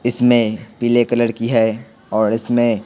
इसमें पीले कलर की हैऔर इसमें--